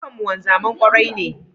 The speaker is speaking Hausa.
Duka mun wanzami mai kwarai ne